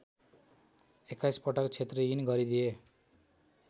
एक्काइसपटक क्षत्रियहीन गरिदिए